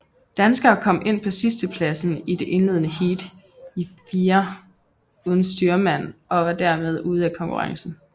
Danskerne kom ind på sidstepladsen i det indledende heat i firer uden styrmand og var dermed ude af konkurrencen